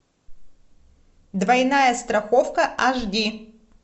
двойная страховка аш ди